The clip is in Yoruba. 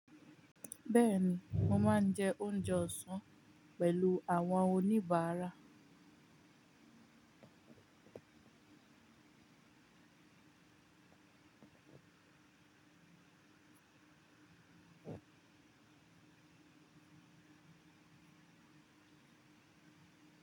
Bẹ́ẹ̀ ni, mo máa n jẹ oúnjẹ ọ̀sán pẹ̀lú àwọn oníbàárà.